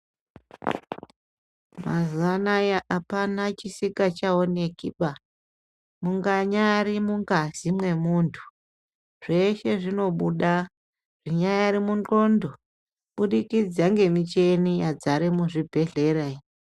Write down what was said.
Mazuwanaya apana chisikachaoneki ba munganyari mungazi mwemuntu zveshe zvinobuda munyari munxondo kubudikidza ngemucheni yadzara muzvibhehlera.